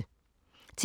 TV 2